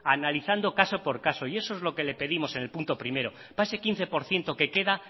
analizando caso por caso y eso es lo que le pedimos en el punto primero para ese quince por ciento que queda